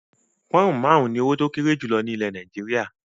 Pọnn máarun ni owó tí ó kéré jù ni ilẹ̀ Nàìjíríà.